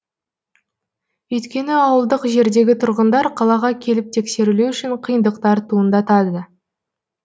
өйткені ауылдық жердегі тұрғындар қалаға келіп тексерілу үшін қиындықтар туындатады